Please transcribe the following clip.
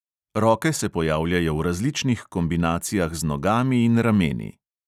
Roke se pojavljajo v različnih kombinacijah z nogami in rameni.